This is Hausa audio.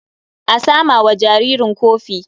A sama wa jaririn kofi.